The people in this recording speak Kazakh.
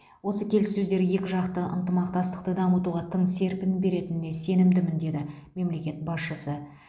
осы келіссөздер екіжақты ынтымақтастықты дамытуға тың серпін беретініне сенімдімін деді мемлекет басшысы